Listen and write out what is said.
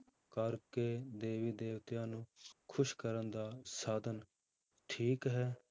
ਕਰਕੇ ਦੇਵੀ ਦੇਵਤਿਆਂ ਨੂੰ ਖ਼ੁਸ਼ ਕਰਨ ਦਾ ਸਾਧਨ ਠੀਕ ਹੈ?